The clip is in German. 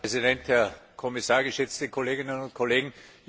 Herr Präsident, Herr Kommissar, geschätzte Kolleginnen und Kollegen!